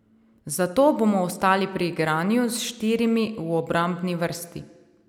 Zato bomo ostali pri igranju s štirimi v obrambni vrsti.